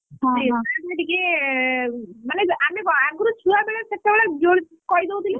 ସେଇଟା ଟିକେ ମାନେ ଆମେ କଣ ଆଗରୁ ଛୁଆ ବେଳେ ସେତେବେଳେ ଜୋରେ କହି ଦଉଥିଲେ।